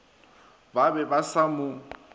bo be bo sa mo